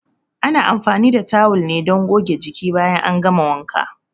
Ana anfani da tawul ne don goge jiki bayan an gama wanka.